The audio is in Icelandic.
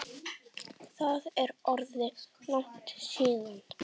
Það er orðið langt síðan.